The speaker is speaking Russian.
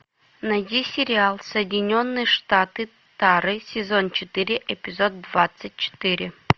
найди сериал соединенные штаты тары сезон четыре эпизод двадцать четыре